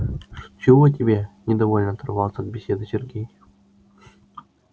чего тебе недовольно оторвался от беседы сергей